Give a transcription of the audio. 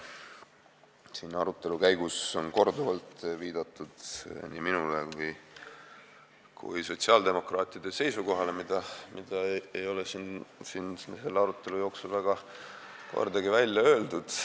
Siin arutelu käigus on korduvalt viidatud nii minule kui ka sotsiaaldemokraatide seisukohale, mida ei ole siin selle arutelu jooksul kordagi välja öeldud.